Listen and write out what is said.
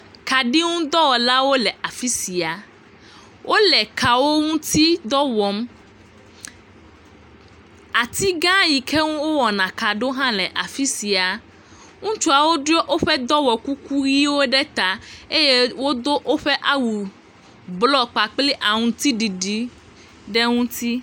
Kaɖi ŋu dɔwɔlawo le afi sia. Wole kawo ŋuti dɔ wɔm. Ati gã yike ŋuti wowɔa ka ɖo hã le afi sia. Ŋutsuawo ɖɔ woƒe dɔwɔkuku ʋɛ̃wo ɖe ta eye wodo woƒe awu blɔ kpakple aŋutiɖiɖi ɖe ŋuti.